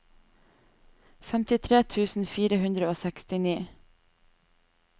femtitre tusen fire hundre og sekstini